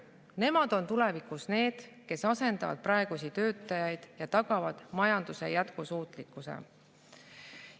Nemad on tulevikus need, kes asendavad praegusi töötajaid ja tagavad majanduse jätkusuutlikkuse.